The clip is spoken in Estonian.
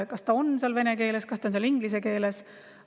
Kas see on seal vene keeles, kas see on inglise keeles …